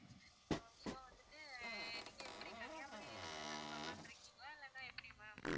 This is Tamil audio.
so வந்துட்டு நீங்க எப்படி கன்னியாகுமரி center க்கு வரலாம்னு இருக்கீங்களா இல்லன்னா எப்படி ma'am